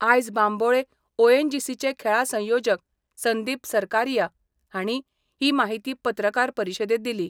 आयज बांबोळे ओएनजीसीचे खेळां संयोजक संदीप सरकारीया हांणी ही माहिती पत्रकार परिशदेंत दिली.